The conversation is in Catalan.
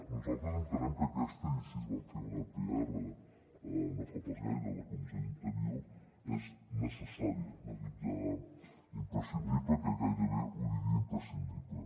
nosaltres entenem que aquesta i així vam fer una pr no fa pas gaire a la comissió d’interior és necessària no dic ja imprescindible que gairebé ho diria imprescindible